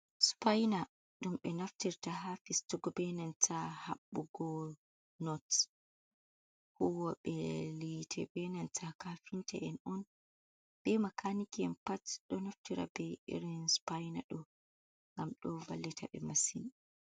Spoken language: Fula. "Sipaina" ɗum ɓe naftirta ha fistugo benanta habbugo not huwoɓe hiite benanta kafinta en on be makaniki en pat ɗo naftira be irin sipaina do ngam ɗo vallita ɓe masin.